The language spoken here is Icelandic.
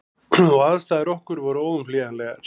Og aðstæður okkar voru óumflýjanlegar.